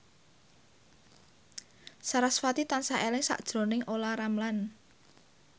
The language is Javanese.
sarasvati tansah eling sakjroning Olla Ramlan